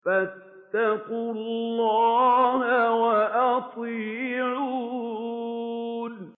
فَاتَّقُوا اللَّهَ وَأَطِيعُونِ